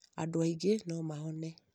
andũ aingĩ no mahone